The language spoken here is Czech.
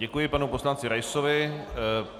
Děkuji panu poslanci Raisovi.